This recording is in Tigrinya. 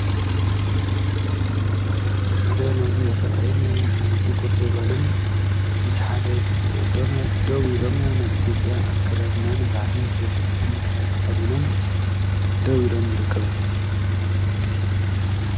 ሓደ ነዊሕ ሰብኣይን ሓንቲ ጎርዞ ጓልን ምስ ሓደ ጽቡቅ ወዶም ደዉ ኢሎም ናይ ኢትዮጵያ ኣከዳድና ባህሊን ዝገልጽ ዓይነት ክዳን ተከዲኖም ደው ኢሎም ይርከቡ።